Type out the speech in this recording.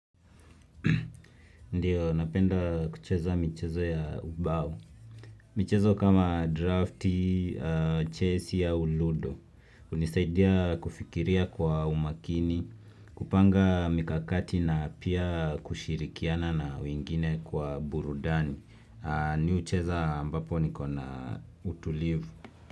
Ndio, napenda kucheza michezo ya ubao. Michezo kama drafti, chess au ludo. Hunisaidia kufikiria kwa umakini, kupanga mikakati na pia kushirikiana na wingine kwa burudani. Mimi hucheza ambapo nikona utulivu.